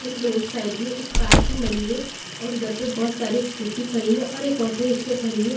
एक road side में एक पार्किंग बनी है और उधर पे बहुत सारी स्कूटी खड़ी है और एक ऑटो रिक्शा खड़ी है.